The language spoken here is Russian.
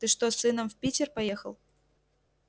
ты что с сыном в питер поехал